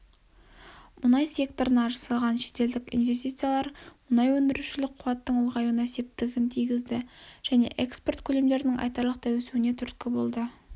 мұнай секторына жасалған шетелдік инвестициялар мұнай өндірушілік қуаттың ұлғаюына септігін тигізді және экспорт көлемдерінің айтарлықтай өсуіне түрткі болды